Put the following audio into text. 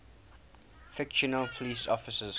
fictional police officers